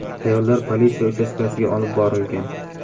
Ayollar politsiya uchastkasiga olib borilgan.